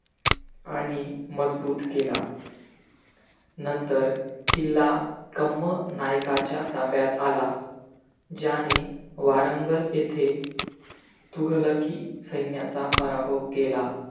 आणि मजबूत केला नंतर किल्ला कम्म नायकाच्या ताब्यात आला. ज्याने वारंगल येथे तुगलकी सैन्याचा पराभव केला.